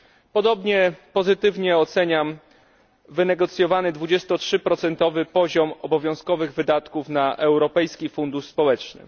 Podobnie pozytywnie oceniam wynegocjowany 23 procentowy poziom obowiązkowych wydatków na Europejski Fundusz Społeczny.